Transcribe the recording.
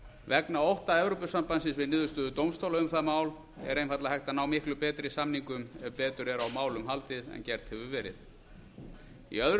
vegna ótta evrópusambandsins við niðurstöðu dómstóla um það mál er einfaldlega hægt að ná miklu betri samningum ef betur er á málum haldið en gert hefur verið í öðru